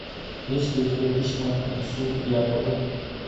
есть ли у тебя письма отцу якобу